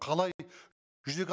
қалай жүзеге